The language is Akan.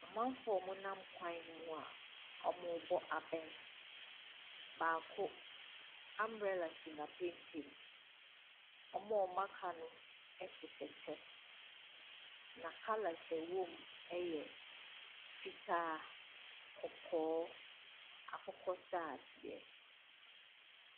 Amanfoɔ ɔmo nam kwan mu a ɔmo bɔ abɛn. Baako, ambrela si n'apampam. Ɔmo a ɔmo aka no ɛhyehyɛ kyɛ na kalɛs a ɛwɔ mu ɛyɛ fitaa, kɔkɔɔ, akokɔsradeɛ.